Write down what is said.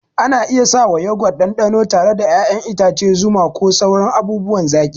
Ana iya sawa Yogurt ɗanɗano tare da ƴaƴan itace, zuma, ko sauran abubuwan zaki.